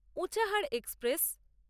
Unchahar express